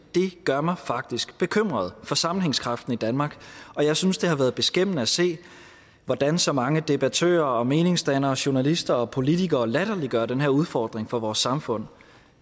gør mig faktisk bekymret for sammenhængskraften i danmark og jeg synes det har været beskæmmende at se hvordan så mange debattører meningsdannere journalister og politikere latterliggør den her udfordring for vores samfund